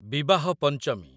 ବିବାହ ପଞ୍ଚମୀ